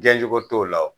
Diɲɛ cogo t'o la o